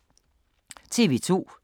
TV 2